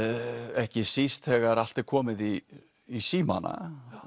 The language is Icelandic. ekki síst þegar allt er komið í í símana